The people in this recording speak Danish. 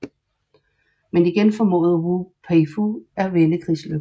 Men igen formåede Wu Peifu at vende krigslykken